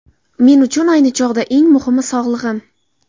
Men uchun ayni chog‘da eng muhimi –– sog‘lig‘im.